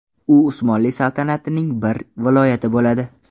U Usmonli saltanatining bir viloyati bo‘ladi.